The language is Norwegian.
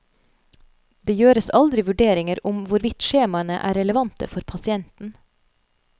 Det gjøres aldri vurderinger om hvorvidt skjemaene er relevante for pasienten.